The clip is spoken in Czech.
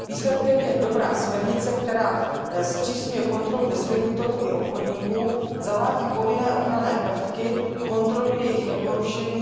Výsledkem je dobrá směrnice, která zpřísňuje kontrolu distributorů i obchodníků, zavádí povinné ochranné prvky a kontrolu jejich neporušení.